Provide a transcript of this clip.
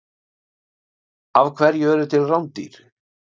Af hverju eru til rándýr?